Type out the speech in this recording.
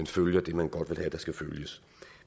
følge det man godt vil have der skal følges